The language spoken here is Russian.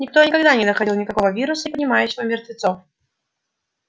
никто и никогда не находил никакого вируса поднимающего мертвецов